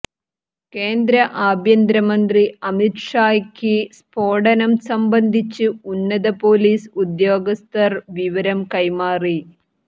കേന്ദ്ര ആഭ്യന്തര മന്ത്രി അമിത് ഷായ്ക്ക് സ്ഫോടനം സംബന്ധിച്ച് ഉന്നത പൊലീസ് ഉദ്യോഗസ്ഥർ വിവരം കൈമാറി